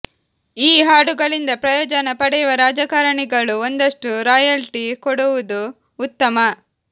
ಈ ಹಾಡುಗಳಿಂದ ಪ್ರಯೋಜನ ಪಡೆಯುವ ರಾಜಕಾರಣಿಗಳು ಒಂದಷ್ಟು ರಾಯಲ್ಟಿ ಕೊಡುವುದು ಉತ್ತಮ